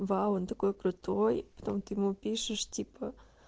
вау он такой крутой а потом ты ему пишешь типа